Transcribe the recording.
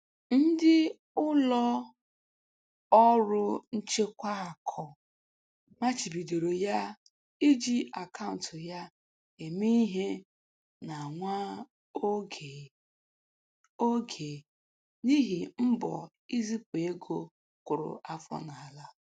Ndị ụlọ ọrụ nchekwa akụ machibidoro ya iji akaụntụ ya eme ihe na nwa oge oge n'ihi mbọ nzipụ ego kụrụ afọ n'ala.